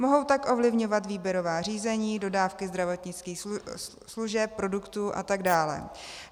Mohou tak ovlivňovat výběrová řízení, dodávky zdravotnických služeb, produktů atd.